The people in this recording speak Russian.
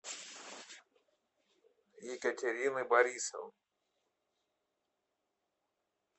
екатерины борисовны